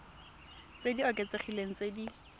tse di oketsegileng tse di